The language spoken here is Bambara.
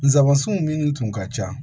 Nsabanson minnu tun ka ca